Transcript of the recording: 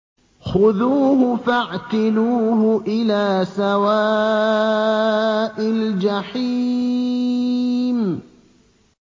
خُذُوهُ فَاعْتِلُوهُ إِلَىٰ سَوَاءِ الْجَحِيمِ